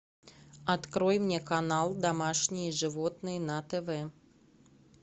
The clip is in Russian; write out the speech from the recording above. открой мне канал домашние животные на тв